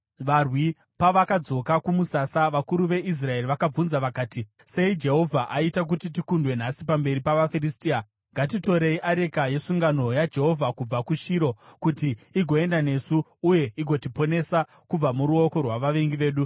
Varwi pavakadzoka kumusasa, vakuru veIsraeri vakabvunza vakati, “Sei Jehovha aita kuti tikundwe nhasi pamberi pavaFiristia? Ngatitorei areka yesungano yaJehovha kubva kuShiro, kuti igoenda nesu uye igotiponesa kubva muruoko rwavavengi vedu.”